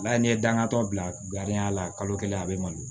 Wala n'i ye dangantɔ bila garijɛya la kalo kelen a bɛ mɔnni